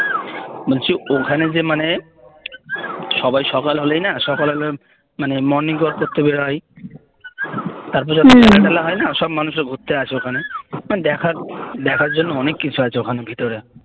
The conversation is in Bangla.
বলছি ওখানে যে মানে সবাই সকাল হলেই না সকালে হলেই মানে morning walk করতে বেরোয় তারপর যখন সন্ধ্যে বেলা হয়না সব মানুষে ঘুরতে আসে ওখানে ওখানে দেখার দেখার জন্য অনেক কিছু আছে ভেতরে